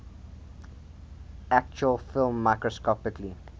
actual film microscopically